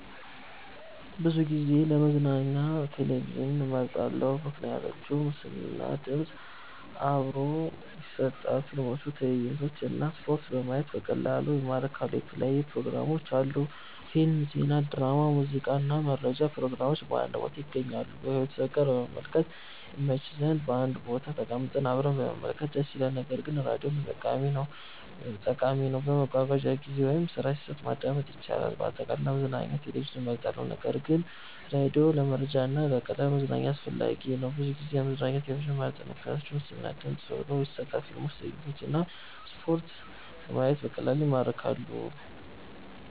ብዙ ጊዜ ለመዝናኛ ቴሌቪዥንን እመርጣለሁ። ምክንያቶች ምስል እና ድምፅ አብሮ ይሰጣል – ፊልሞች፣ ትዕይንቶች እና ስፖርት በማየት በቀላሉ ይማርካሉ። የተለያዩ ፕሮግራሞች አሉ – ፊልም፣ ዜና፣ ድራማ፣ ሙዚቃ እና መረጃ ፕሮግራሞች በአንድ ቦታ ይገኛሉ። ከቤተሰብ ጋር ለመመልከት ይመች – በአንድ ቦታ ተቀምጠን አብረን መመልከት ደስ ይላል። ነገር ግን ራዲዮም ጠቃሚ ነው፤ በመጓጓዣ ጊዜ ወይም ስራ ሲሰራ ማዳመጥ ይቻላል። አጠቃላይ፣ ለመዝናኛ ቴሌቪዥን እመርጣለሁ ነገር ግን ራዲዮ ለመረጃ እና ለቀላል መዝናኛ አስፈላጊ ነው።